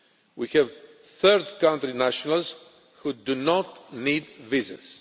We have third country nationals who do not need visas.